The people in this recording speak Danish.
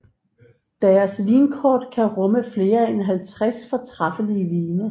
Deres vinkort kan rumme flere end 50 fortræffelige vine